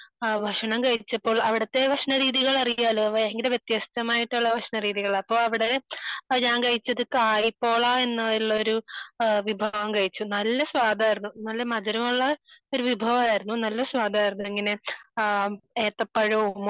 ഞാൻകഴിഞ്ഞ ദിവസങ്ങളിൽ കോഴിക്കോട് പോയിരുന്നു.